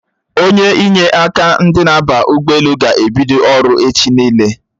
Onye inye aka ndị na-aba ụgbọelu ga-ebido ọrụ echi niile